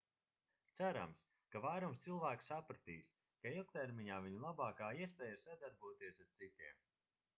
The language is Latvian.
cerams ka vairums cilvēku sapratīs ka ilgtermiņā viņu labākā iespēja ir sadarboties ar citiem